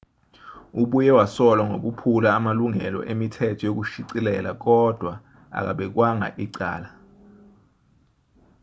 ubuye wasolwa ngokuphula amalungelo emithetho yokushicilela kodwa akabekwanga icala